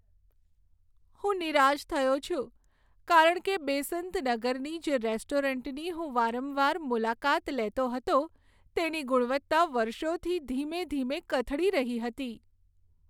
હું નિરાશ થયો છું, કારણ કે બેસંત નગરની જે રેસ્ટોરન્ટની હું વારંવાર મુલાકાત લેતો હતો, તેની ગુણવત્તા વર્ષોથી ધીમે ધીમે કથળી રહી હતી.